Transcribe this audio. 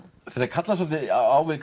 kallast svolítið á við